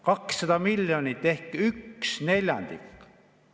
200 miljonit ehk üks neljandik!